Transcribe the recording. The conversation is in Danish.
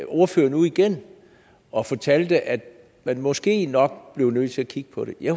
ordføreren ud igen og fortalte at man måske nok blev nødt til at kigge på det jeg